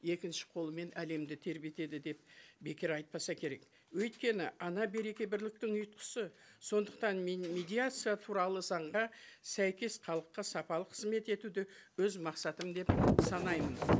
екінші қолымен әлемді тербетеді деп бекер айтпаса керек өйткені ана береке бірліктің ұйытқысы сондықтан мен медиация туралы заңға сәйкес халыққа сапалы қызмет етуді өз мақсатым деп санаймын